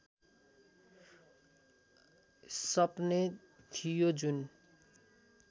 सपने थियो जुन